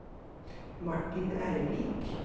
Martin Ervik